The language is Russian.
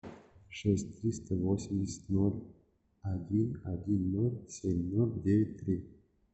шесть триста восемьдесят ноль один один ноль семь ноль девять три